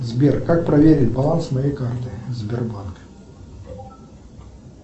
сбер как проверить баланс моей карты сбербанка